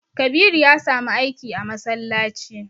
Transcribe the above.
Kabiru ya samu aiki a masallaci.